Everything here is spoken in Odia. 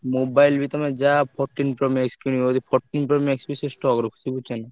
Mobile ବି ତମେ ଯାହା fourteen କିଣିବ fourteen ବି ସିଏ stock ରଖିଛି ବୁଝୁଛନା।